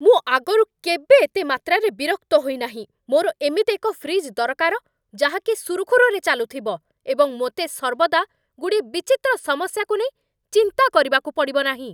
ମୁଁ ଆଗରୁ କେବେ ଏତେ ମାତ୍ରାରେ ବିରକ୍ତ ହୋଇନାହିଁ। ମୋର ଏମିତି ଏକ ଫ୍ରିଜ୍ ଦରକାର, ଯାହା କି ସୁରୁଖୁରୁରେ ଚାଲୁଥିବ, ଏବଂ ମୋତେ ସର୍ବଦା ଗୁଡ଼ିଏ ବିଚିତ୍ର ସମସ୍ୟାକୁ ନେଇ ଚିନ୍ତା କରିବାକୁ ପଡ଼ିବ ନାହିଁ!